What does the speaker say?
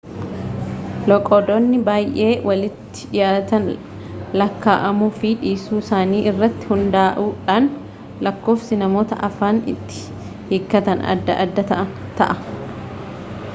loqodoonni baay'ee walitti dhiyaatan lakkaa'amuu fi dhiisuu isaanii irratti hundaa'uudhaan lakkoofsi namoota afaan itti hiikkatanii adda adda ta'a